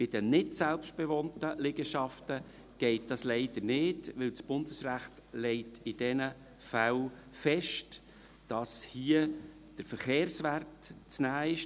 Bei den nicht selbstbewohnten Liegenschaften geht dies leider nicht, weil das Bundesrecht in diesen Fällen festlegt, dass hier der Verkehrswert zu nehmen sei.